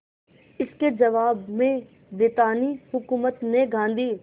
इसके जवाब में ब्रितानी हुकूमत ने गांधी